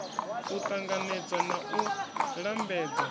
u ṱanganedzwa na u lambedzwa